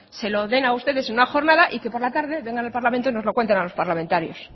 se lo den a ustedes en una jornada y que por la tarde vengan al parlamento y nos lo cuenten a los parlamentarios